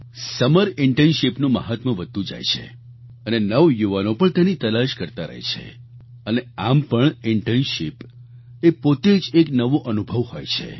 summer internship નું મહાત્મ્ય વધતું જાય છે અને નવયુવાનો પણ તેની તલાશ કરતા રહે છે અને આમ પણ ઈન્ટર્નશિપ એ પોતે જ એક નવો અનુભવ હોય છે